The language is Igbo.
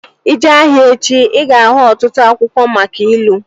Ị jee ahịa echi, ị ga-ahụ ọtụtụ akwụkwọ maka ilu